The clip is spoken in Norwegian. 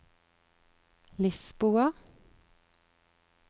Lisboa